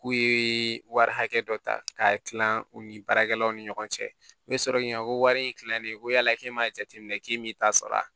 K'u ye wari hakɛ dɔ ta k'a tila u ni baarakɛlaw ni ɲɔgɔn cɛ n bɛ sɔrɔ k'i ɲininka ko wari in tilanen ko yala k'e m'a jateminɛ k'i m'i ta sara